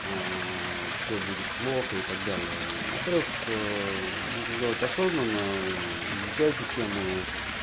аа все будет плохо и так далее во-первых нужно делать осознанно изучайте тему